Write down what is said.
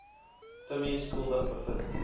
timmie skuldig bevind